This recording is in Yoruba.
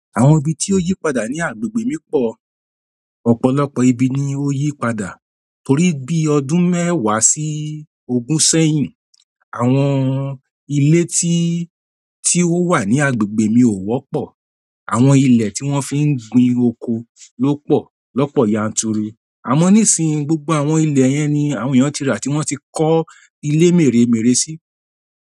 Àwọn ibi tí ó yí padà ní agbègbè mi pọ̀. Ọ̀pọ̀lọpọ̀ ibi ni ó yí padà torí bí ọdún mẹ́wàá sí ogún sẹ́yìn, àwọn ilé tí, tí ó wà ní agbègbè mi ò wọ́pọ̀. Àwọn ilẹ̀ tí wọ́n fi ń gbin oko ló pọ̀ lọ́pọ̀ yanturu. Àmọ́ nísìnyí, gbogbo àwọn ilẹ̀ yẹn ni àwọn èèyàn ti rà tí wọ́n ti kọ́ ilé mèremère sí.